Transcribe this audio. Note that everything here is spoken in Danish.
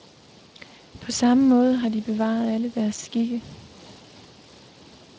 På samme måde har de bevaret alle deres skikke.